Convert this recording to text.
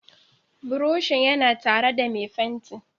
Buroshin yana tare da mai fenti.